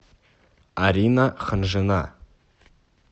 арина ханжина